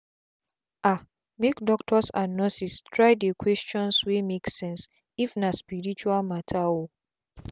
ahmake doctors and nurses try dey questions wey make sense if na spirtual matter oo.